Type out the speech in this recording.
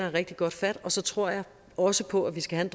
rigtig godt fat og så tror jeg også på at vi skal have